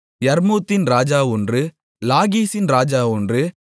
யர்மூத்தின் ராஜா ஒன்று லாகீசின் ராஜா ஒன்று